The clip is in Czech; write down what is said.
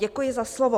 Děkuji za slovo.